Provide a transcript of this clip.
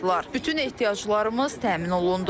Bütün ehtiyaclarımız təmin olundu.